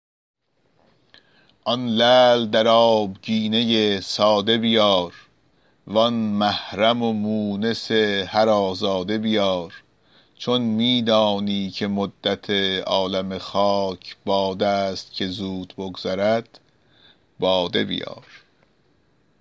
آن لعل در آبگینه ساده بیار وآن محرم و مونس هر آزاده بیار چون می دانی که مدت عالم خاک باد است که زود بگذرد باده بیار